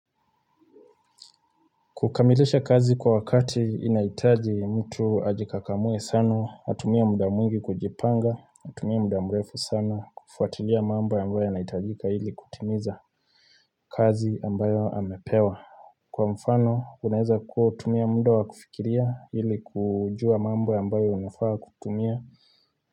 Kukamilisha kazi kwa wakati inaitaji mtu ajikakamue sana, atumia mda mwingi kujipanga, atumia mda mwrefu sana kufuatilia mamba ambayo ya naitajika hili kutimiza kazi ambayo amepewa Kwa mfano, unaeza kuwa utumia mdo wa kufikiria hili kujua mambo ambayo unafaa kutumia.